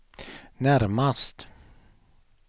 närmast